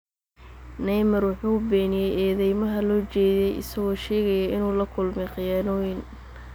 Neymar wuxuu beeniyay eedeymaha loo jeediyay, isagoo sheegaya inuu la kulmay khiyaanooyin.